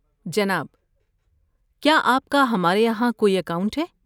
جناب، کیا آپ کا ہمارے یہاں کوئی اکاؤنٹ ہے؟